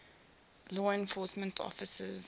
law enforcement officers